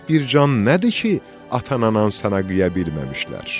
Bir can nədir ki, ata-anan sənə qıya bilməmişlər.